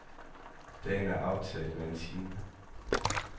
Dagen er aftaget med en time.